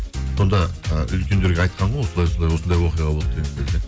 сонда ы үлкендерге айтқан ғой осылай осылай осындай оқиға болды деген кезде